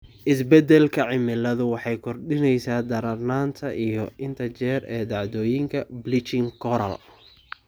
Isbeddelka cimiladu waxay kordhinaysaa darnaanta iyo inta jeer ee dhacdooyinka bleaching coral.